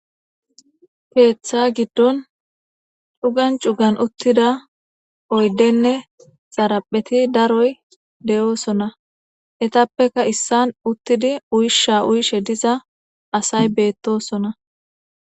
Keetha giddon cugan cugan utida oydene xarapheti daroy de'osona , etappeka isan utidi usha utishe duza asay betosona